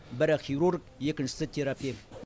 бірі хирург екіншісі терапевт